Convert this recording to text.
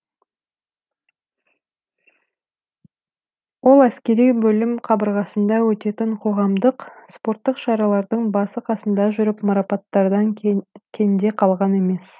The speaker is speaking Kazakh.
ол әскери бөлім қабырғасында өтетін қоғамдық спорттық шаралардың басы қасында жүріп марапаттардан кенде қалған емес